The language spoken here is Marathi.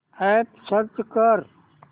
अॅप सर्च कर